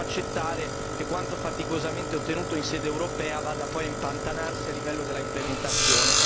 Non possiamo accettare che quanto faticosamente ottenuto in sede europea vada poi a impantanarsi a livello dell'implementazione.